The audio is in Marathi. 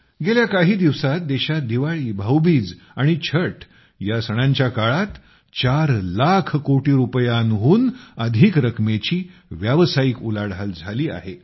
गेल्या काही दिवसांत देशात दिवाळी भाऊबीज आणि छठ या सणांच्या काळात 4 लाख कोटी रुपयांहून अधिक रकमेची व्यावसायिक उलाढाल झाली आहे